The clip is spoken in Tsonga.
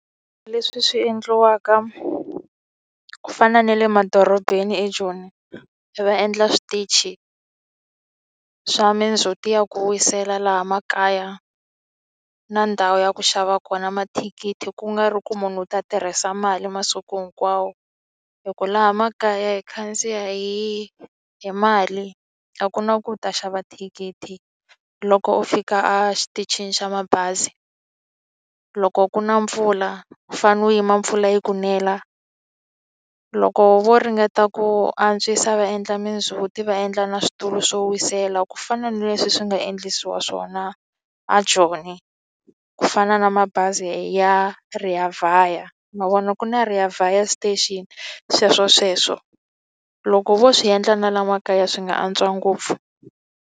Leswi swi endliwaka ku fana na le madorobeni eJoni, va endla switichi swa mindzhuti ya ku wisela laha makaya. Na ndhawu ya ku xava kona mathikithi ku nga ri ku munhu u ta tirhisa mali masiku hinkwawo. Hikuva laha makaya hi khandziya hi hi mali a ku na ku u ta xava thikithi, loko u fika exitichini xa mabazi. Loko ku na mpfula, u fanele u yima mpfula yi ku nela. Loko vo ringeta ku antswisa va endla mindzhuti va endla na switulu swo wisela, ku fana na leswi swi nga endlisiwa xiswona eJoni. Ku fana na mabazi ya Reavaya, ma vona ku na Reavaya station, sweswo sweswo. Loko vo swi endla na laha makaya swi nga antswa ngopfu.